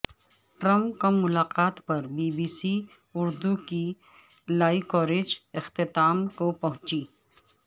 Trump Kim ملاقات پر B B C Urdu کی لائیو کوریج اختتام کو پہنچی